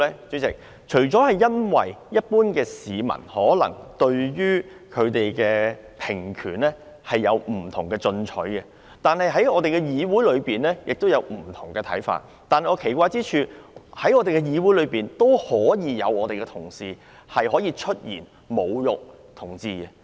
主席，除了因為一般市民可能對平權有不同的取態外，也因為議會內有不同的看法，但我奇怪的是，在議會內竟然有同事出言侮辱同志。